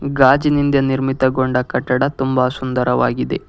ಗಾಜಿನಿಂದ ನಿರ್ಮಿತಗೊಂಡ ಕಟ್ಟಡ ತುಂಬ ಸುಂದರವಾಗಿದೆ.